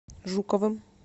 жуковым